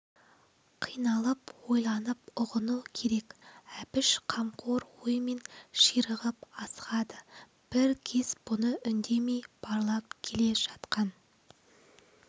қиналып ойланып ұғыну керек әбіш қамқор оймен ширығып асығады бір кез бұны үндемей барлап келе жатқан